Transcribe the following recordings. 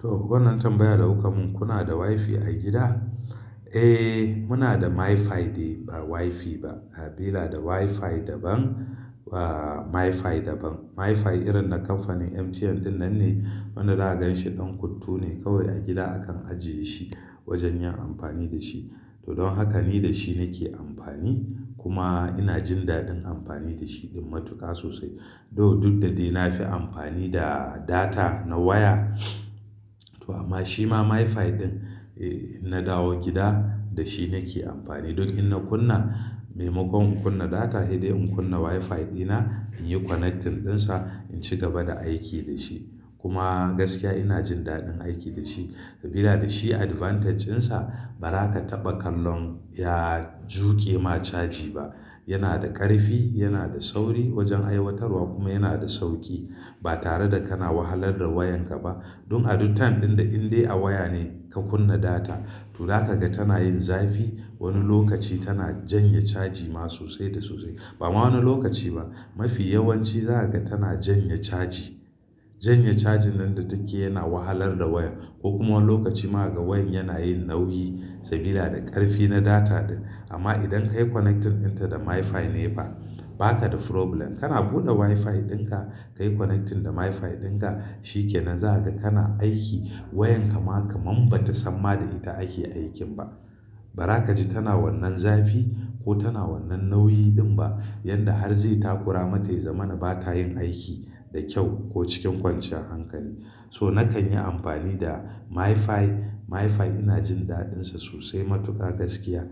To, wannan tambayar da kuka mun, kuna da WiFi a gida? Eh, muna da MiFi ne ba WiFi ba. Ina da WiFi daban ba MiFi daban. MiFi irin na kamfanin MTN ɗinnan ne. Wanda na ganshi ɗan kuttu ne. Kawai a gida akan ajiye shi wajen yin amfani da shi. To, don haka ni da shi nake amfani. Kuma ina jin daɗin amfani da shi din matuƙa sosai. To, duk da dai na fi amfani da data na waya amma shi ma MiFi ɗin eh inna dawo gida da shi nake amfani. Don in na kunna, maimakon in kunna data he dai in kunna WiFi dina in yi connecting ɗinsa in ci gaba da aiki da shi. Kuma gaskiya ina jin daɗin aiki da shi sabida da shi advantage ɗinsa ba za ka taɓa kallon ya juke ma caji ba. Yana da ƙarfi, yana da sauri wajen aiwatarwa kuma yana da sauki. Ba tare da kana wahalar da wayanka ba. Don a duk time ɗin da in dai a waya ne ka kunna data to za ka ga tana yin zafi. Wani lokaci tana janye caji ma sosai da sosai. Ba ma wani lokaci ba, mafi yawanci za ka ga tana janye caji. Janye cajin nan da take yana wahalar da wayan. Ko kuma wani lokaci ma ga wayan yana yin nauyi sabida da ƙarfi na data ɗin. Amma idan ka yi connecting ɗinta da MiFi ne ba, ba ka da problem. Kana buɗe WiFi ɗinka, ka yi connecting da MiFi ɗinka shikenan. Za ka ga kana aiki wayan kama kamam ba ta samma da ita ake aikin ba. Ba za ka ji tana wannan zafi ko tana wannan nauyi ɗin ba. Yanda har zai takura mata ya zama na ba ta yin aiki da kyau ko cikin kwanciyar hankali. So nakan yi amfani da MiFi. MiFi ina jin daɗinsa sosai matuƙa gaskiya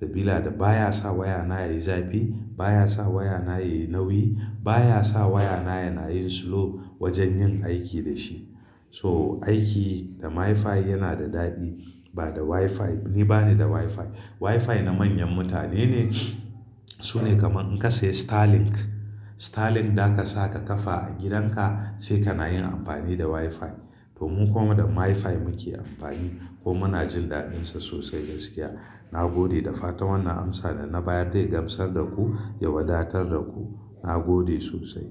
sabilada da baya sa wayana ya yi zafi, baya sa wayana ya yi nauyi, baya sa wayana yana yin slow wajen yin aiki da shi. So, aiki da MiFi yana da daɗi ba da WiFi. Ni bani da WiFi. WiFi na manyan mutane ne. Su ne kaman in ka sayi Starlink. Starlink da ka sa ka kafa a gidanka sai kana yin amfani da WiFi. To, mu kuma da MiFi muke amfani ko muna jin daɗinsa sosai gaskiya. Na gode da fata wannan amsa da na bayar dai gamsar da ku, ya wadatar da ku. Na gode sosai.